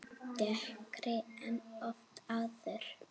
Dekkri en oft áður.